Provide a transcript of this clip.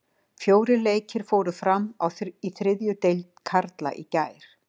Fjórir leikir fóru fram í þriðju deild karla í gær.